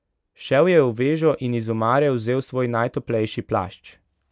Šel je v vežo in iz omare vzel svoj najtoplejši plašč.